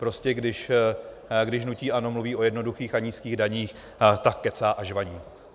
Prostě když hnutí ANO mluví o jednoduchých a nízkých daních, tak kecá a žvaní.